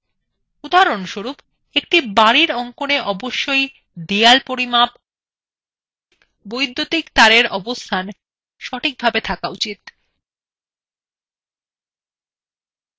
উদাহরণস্বরূপ একটি বাড়ির অঙ্কনa অবশ্যই দেয়াল পরিমাপ বৈদ্যুতিক তারের অবস্থান সঠিকভাবে থাকা প্রয়োজন